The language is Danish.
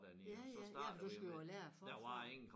Ja ja ja for du skulle jo lære forfra